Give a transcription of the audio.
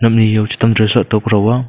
naiyo cha tam tha sa to kathau aa.